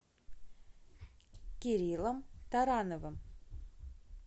кириллом тарановым